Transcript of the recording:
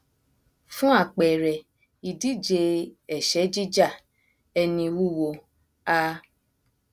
fún àpẹrẹ ìdíje ẹṣẹ jíjà ẹni wúwo a